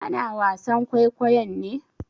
Ana wasan kwaikwayon ne?